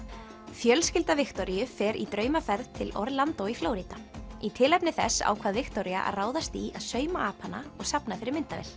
fjölskylda Viktoríu fer í draumaferð til í Flórída í tilefni þess ákvað Viktoría að ráðast í að sauma apana og safna fyrir myndavél